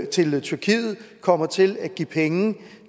til tyrkiet kommer til at give penge